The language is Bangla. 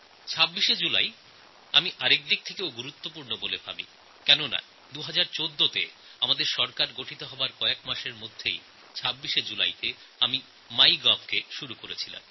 ২৬শে জুলাইকে আরও এক দৃষ্টিতে আমি মহত্বপূর্ণ মনে করি কারণ ২০১৪ সালে আমাদের সরকার গঠনের কয়েক মাস পর ২৬শে জুলাইতেই আমি মাইগভ পোর্টালএর শুরু করেছিলাম